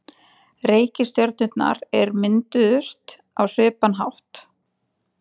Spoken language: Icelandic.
reikistjörnurnar mynduðust á svipaðan hátt